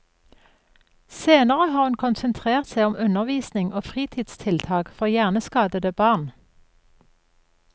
Senere har hun konsentrert seg om undervisning og fritidstiltak for hjerneskadede barn.